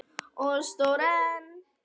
Og sór enn.